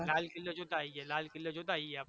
લાલ કિલ્લો જોતા આઈએ લાલ કિલ્લો જોતા આઈએ આપણે